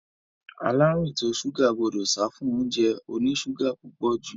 Aláàrúùn ìtọ ṣúgà gbọdọ̀ sáfún óúnjẹ oní ṣúgà púpọ̀ jù.